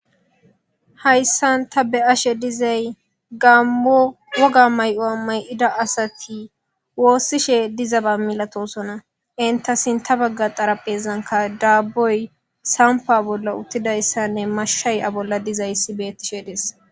Haysan ta be'ashe dizaysi gamo woga mayo mayida asati wosishe dizaba malatosona enta sinta baga xaraphezanka daboy tampa bola utidaysane mashay a bola betishe de'es